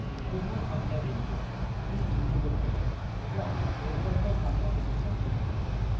এটি আমার সংখ্যা ভ্যারিয়েবল এটি বৃদ্ধি করতে পারে এবং প্রয়োগকর্তার সামনে প্রদর্শন করতে পারে